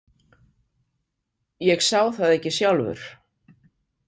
Ég sá það ekki sjálfur.